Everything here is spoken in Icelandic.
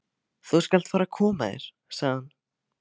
Þú skalt fara að koma þér, sagði hann.